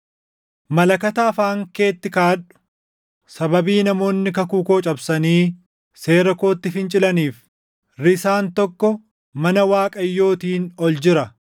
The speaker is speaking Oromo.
“Malakata afaan keetti kaaʼadhu! Sababii namoonni kakuu koo cabsanii seera kootti fincilaniif risaan tokko mana Waaqayyootiin ol jira.